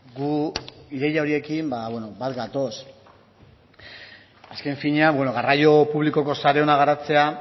gu ideia horiekin bat gatoz azken finean garraio publikoko sare ona garatzea